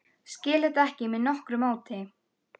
Skil þetta ekki með nokkru móti.